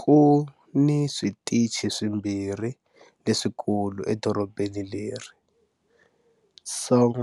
Ku ni switichi swimbirhi leswikulu edorobeni leri-Song